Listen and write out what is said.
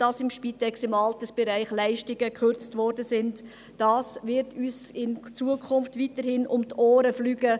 Dass bei der Spitex und im Altersbereich gespart wird, wird uns auch in Zukunft um die Ohren fliegen.